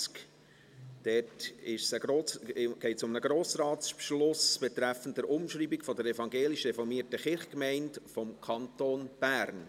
Dort geht es um einen Grossratsbeschluss betreffend die Umschreibung der evangelisch-reformierten Kirchgemeinden des Kantons Bern.